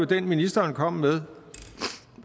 den ministeren kom med